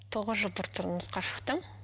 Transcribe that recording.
тоғыз жыл тұрмысқа шықтым